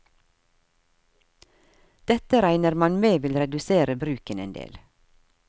Dette regner man med vil redusere bruken en del.